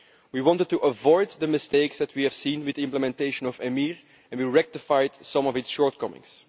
We wanted to avoid the mistakes that we have seen with the implementation of EMIR and we rectified some of the shortcomings.